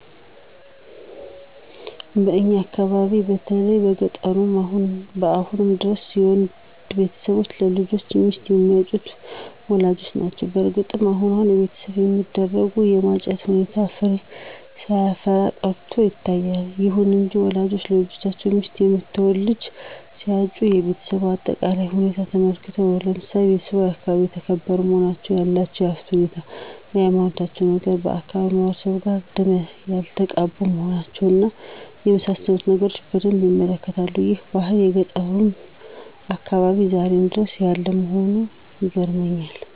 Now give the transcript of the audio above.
በእኛ አካባቢ በተለይ በገጠሩ አሁንም ድረስ የወንድ ቤተሰቦች ለልጆቻቸው ሚስት የሚያጩት ወላጆች ናቸው። በእርግጥ አሁን አሁን በቤተሰብ የሚደረገው የማጨት ሁኔታ ፍሬ ሳያፈራ ቀርቶ ይታያል። ይሁን እንጂ ወላጆች ለልጆቻቸው ሚስት የምትሆነውን ልጅ ሲያጩ የቤሰቧን አጠቃላይ ሁኔታ ተመልክተው ነው። ለምሳሌ ቤተሰቧ በአካባቢው የተከበሩ መሆናቸውን፣ ያላቸውን የሀብት ሁኔታ፣ የሀይማኖታቸውን ነገር፣ ከአካባቢው ማህበረሰብ ጋር ደም ያልተቃቡ መሆናቸውን እና የመሳሰሉትን ነገሮች በደንብ ይመለከታሉ። ይህ ባህል በገጠሩ አካባቢያችን ዛሬም ድረስ ያለ መሆኑ ይገርመኛል።